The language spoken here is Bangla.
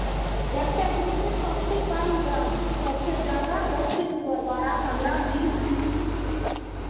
একটা group এ Hindi